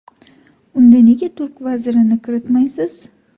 Unda nega turk vazirini kiritmaysiz?.